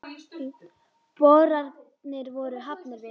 Boranir voru hafnar við